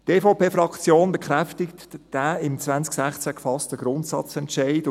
Die EVP-Fraktion bekräftigt den im 2016 gefassten Grundsatzentscheid.